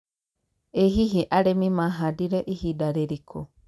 ĩ hihi arĩmi mahandire ihinda rĩrĩkũ